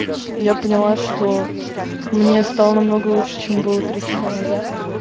я поняла что мне стало намного лучше чем было три часа назад